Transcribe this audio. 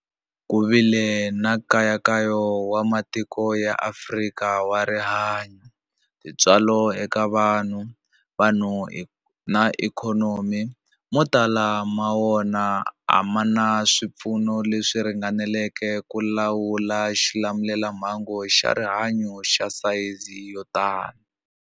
Ku vile nkayakayo wa matiko ya Afrika wa rihanyu, tintswalo eka vanhu, vanhu na ikhonomi, mo tala ma wona a ma na swipfuno leswi ringaneleke ku lawula xilamulelamhangu xa rihanyu xa sayizi yo tani.